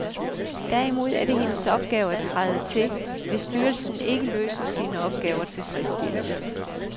Derimod er det hendes opgave at træde til, hvis styrelsen ikke løser sine opgaver tilfredsstillende.